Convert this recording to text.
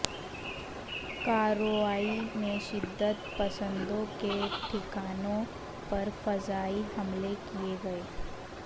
کارروائی میں شدت پسندوں کے ٹھکانوں پر فضائی حملے کیے گئے